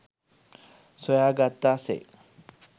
සොයාගත්තා සේ